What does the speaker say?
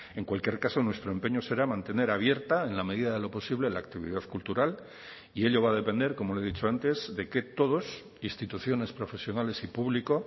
en cualquier caso nuestro empeño será mantener abierta en la medida de lo posible la actividad cultural y ello va a depender como le he dicho antes de que todos instituciones profesionales y público